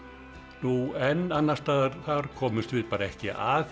nú enn annars staðar þar komumst við bara ekki að því